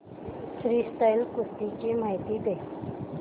freestyle कुस्ती ची माहिती दे